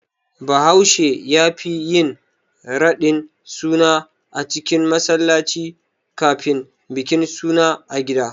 Bahaushe yafi yin radin suna a cikin masallaci kafin bikin suna a gida.